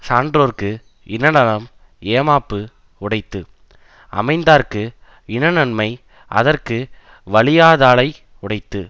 சான்றோர்க்கு இனநலம் ஏமாப்பு உடைத்து அமைந்தார்க்கு இனநன்மை அதற்கு வலியாதாலை உடைத்து